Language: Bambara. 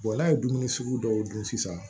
n'a ye dumuni sugu dɔw dun sisan